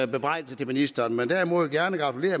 bebrejdelse af ministeren men gratulerer derimod gerne